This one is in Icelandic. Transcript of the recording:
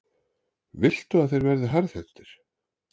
Viltu að þeir verði harðhentir?